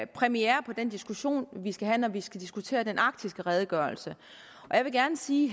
premiere på den diskussion vi skal have når vi skal diskutere den arktiske redegørelse jeg vil gerne sige